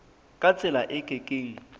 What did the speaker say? ka tsela e ke keng